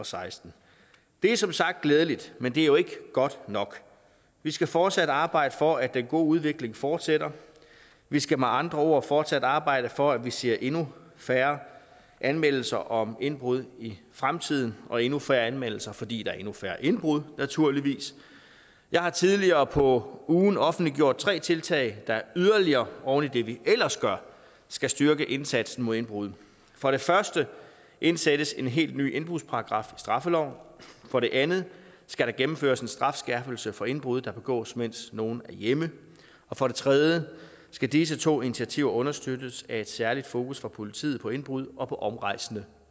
seksten det er som sagt glædeligt men det er jo ikke godt nok vi skal fortsat arbejde for at den gode udvikling fortsætter vi skal med andre ord fortsat arbejde for at vi ser endnu færre anmeldelser om indbrud i fremtiden og endnu færre anmeldelser fordi der er endnu færre indbrud naturligvis jeg har tidligere på ugen offentliggjort tre tiltag der yderligere oven i det vi ellers gør skal styrke indsatsen mod indbrud for det første indsættes en helt ny indbrudsparagraf i straffeloven for det andet skal der gennemføres en strafskærpelse for indbrud der begås mens nogen hjemme for det tredje skal disse to initiativer understøttes af et særligt fokus fra politiet på indbrud og på omrejsende